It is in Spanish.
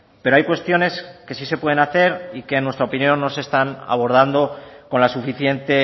pero hay cuestiones que sí se pueden hacer y que en nuestra opinión no se están abordando con la suficiente